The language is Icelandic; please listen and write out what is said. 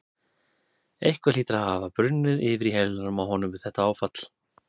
Eitthvað hlýtur að hafa brunnið yfir í heilanum á honum við þetta áfall.